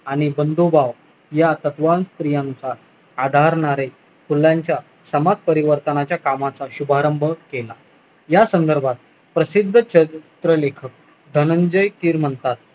आणि बंधुभाव या तत्व स्त्रियांचा आधारणारे फुलांच्या समाजपरिवर्तना च्या कामाचा शुभारंभ केला या संधर्भात प्रसिद्ध शेक प्रलेखक धनंजय किर म्हणतात